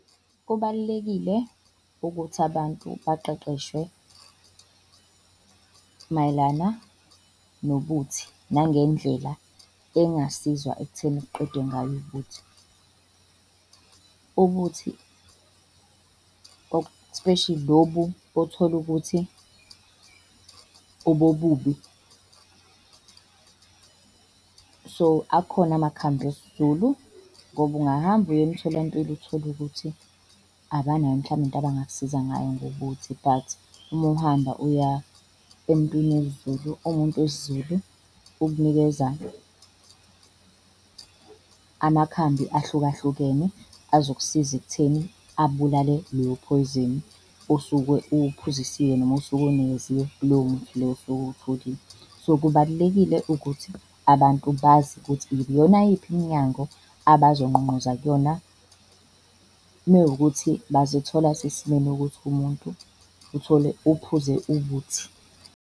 Kubalulekile ukuthi abantu baqeqeshwe mayelana nobuthi nangendlela engasizwa ekutheni kuqedwe ngayo ubuthi, ubuthi especially lobu othola ukuthi obobubi so, akhona amakhambi esiZulu. Ngoba ungahamba uye emtholampilo uthole ukuthi abanayo mhlawumbe into bangakusiza ngayo ngobuthi but uma uhamba uya emuntwini wesiZulu. Umuntu wesiZulu ukunikeza amakhambi ahlukahlukene azokusiza ekutheni abulale leyo phoyizeni osuke uwuphuziswe noma osuke uwunikeziwe, kulowo muthi loyo osuke uwutholile. So, kubalulekile ukuthi abantu bazi ukuthi iyona yiphi iminyango abazongqongqoza kuyona mewukuthi bazithola sesimeni ukuthi umuntu uthole uphuze ubuthi.